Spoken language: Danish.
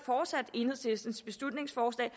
enhedslistens beslutningsforslag